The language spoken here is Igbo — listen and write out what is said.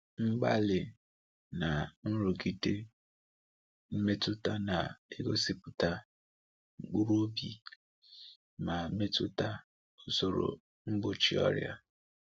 Mgbali na nrụgide mmetụta na-egosipụta mkpụrụobi, ma metụta usoro mgbochi ọrịa.